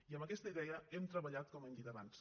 i amb aquesta idea hem treballat com hem dit abans